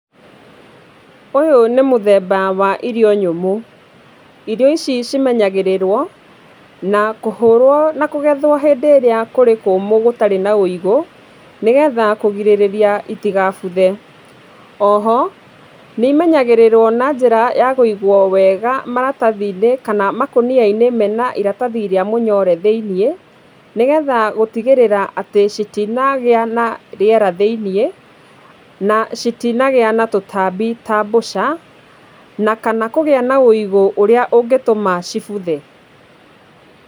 Ũyũ nĩ mũthemba wa irio nyũmũ. Irio ici cimenyagĩrĩrwo na kũhũrwo na kũgethwo rĩrĩa kũrĩ kũũmũ gũtarĩ na ũigũ nĩgetha kũgirĩrĩria itikagume. O ho nĩ imenyagĩrĩrwo na njĩra ya kũigwo wega maratathi-inĩ kana makũnia-inĩ mena iratathi rĩa mũnyore thĩinĩ, nĩgetha gũtigĩrĩra atĩ citinagĩa na rĩera thĩinĩ, na citinagĩa na tũtambi ta mbũca kana kũgĩa na ũigũ ũrĩa ũngĩtũma cibuthe.